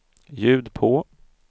ljud på